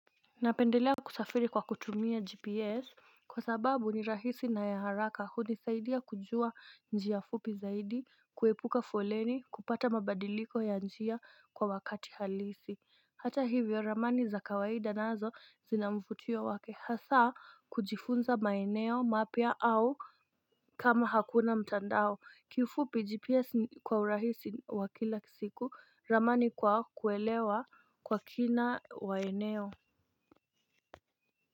Napendelea kusafiri kwa kutumia gps kwa sababu ni rahisi na ya haraka hunisaidia kujua njia fupi zaidi kuepuka foleni kupata mabadiliko ya njia kwa wakati halisi. Hata hivyo ramani za kawaida nazo zina mvutio wake hasaa kujifunza maeneo mapya au kama hakuna mtandao kiufupi gps kwa urahisi wa kila siku ramani kwa kuelewa kwa kina waeneo.